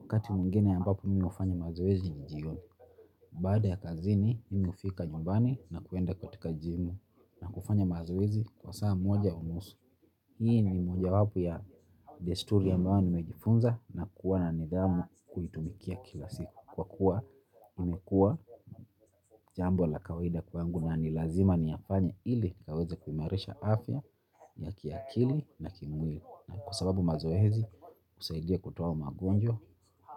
Wakati mwingine ambapo mimi hufanya mazoezi ni jioni. Baada ya kazini mimi hufika nyumbani na kuenda katika jimu. Kufanya mazoezi kwa saa moja unusu. Hii ni mojawapo ya desturi ambayo nimejifunza na kuwa na nidhamu kuitumikia kila siku. Kwa kuwa imekuwa jambo la kawaida kwangu na ni lazima niyafanye ili nikaweze kuimarisha afya ya kiakili na kimwili. Na kwa sababu mazoezi husaidia kutoa magonjwa,